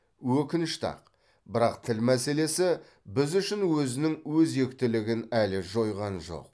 өкінішті ақ бірақ тіл мәселесі біз үшін өзінің өзектілігін әлі жойған жоқ